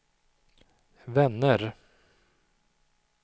vänner